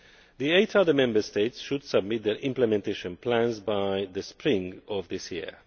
The eight other Member States should submit their Implementation Plans by the spring of this year.